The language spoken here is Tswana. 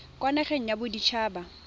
kwa nageng ya bodit haba